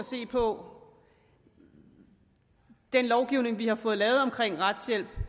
se på den lovgivning vi har fået lavet om retshjælp